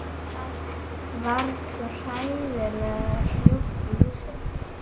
Allt varð svo hræðilega hljótt í húsinu.